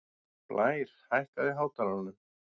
Blær, hækkaðu í hátalaranum.